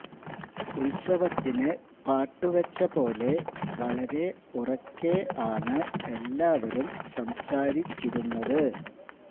ഉത്സവത്തിന് പാട്ടു വെച്ച പോലെ വളരെ ഉറക്കെ ആണ് എല്ലാവരും സംസാരിച്ചിരുന്നത്